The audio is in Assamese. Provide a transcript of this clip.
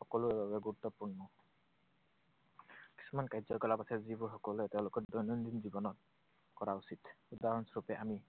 সকলোৰ বাবে গুৰুত্বপূৰ্ণ। কিছুমান কাৰ্যকলাপ আছে যিবোৰ সকলোৱে তেওঁলোকৰ দৈনন্দিন জীৱনত কৰা উচিত। উদাহৰণস্বৰূপে আমি